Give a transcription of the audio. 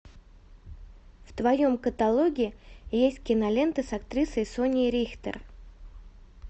в твоем каталоге есть киноленты с актрисой соней рихтер